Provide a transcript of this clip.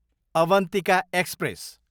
Avantika express